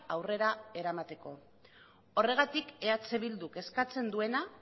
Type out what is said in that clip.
aurrera eramateko horregatik eh bilduk eskatzen duena